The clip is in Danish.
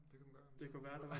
Det kunne man godt argumentere for